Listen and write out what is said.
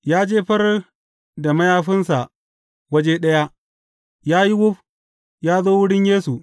Ya jefar da mayafinsa waje ɗaya, ya yi wuf, ya zo wurin Yesu.